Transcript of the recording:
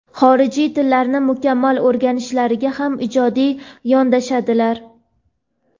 xorijiy tillarni mukammal o‘rganishlariga ham ijodiy yondashadilar.